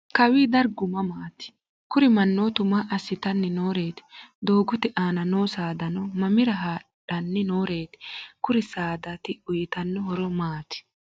kawi dargu mamaati? kuri mannootu maa assitanni noreeti? doogote aana noo saadano mamira hadhanni noreeti? kuri saadati uyitanno horo maati?